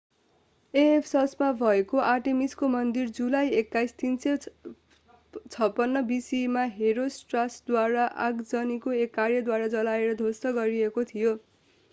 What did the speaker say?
एफेससमा भएको आर्टेमिसको मन्दिर जुलाई 21 356 bce मा हेरोस्ट्राटसद्वारा आगजनीको एक कार्यद्वारा जलाएर ध्वस्त गरिएको थियो